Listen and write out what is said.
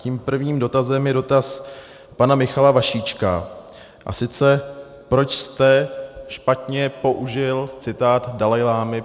Tím prvním dotazem je dotaz pana Michala Vašíčka, a sice proč jste špatně použil citát Dalajlámy.